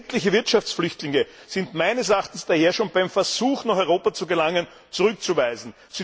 Sämtliche Wirtschaftsflüchtlinge sind meines Erachtens daher schon beim Versuch, nach Europa zu gelangen, zurückzuweisen.